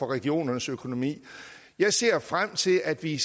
regionernes økonomi jeg ser frem til at vi